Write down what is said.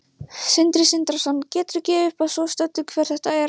Sindri Sindrason: Geturðu gefið upp að svo stöddu hver þetta er?